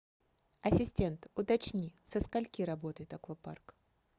ассистент уточни со скольки работает аквапарк